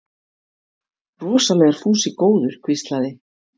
Rosalega er Fúsi góður hvíslaði